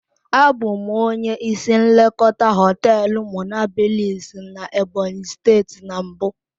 Abụ m onye isi nlekọta hoteelu monablis na Ebonyi steeti na mbụ.